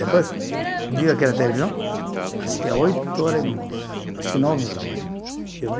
Depois, vi aquela televisão, acho que há oito horas, acho que nove horas mais ou menos, eu vi,